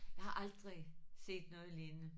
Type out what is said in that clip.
Jeg har aldrig set noget lignende